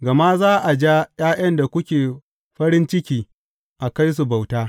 Gama za a ja ’ya’yan da kuke farin ciki a kai su bauta.